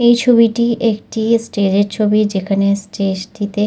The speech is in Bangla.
এই ছবিটি একটি স্টেজ এর ছবি। যেখানে স্টেজ টিতে--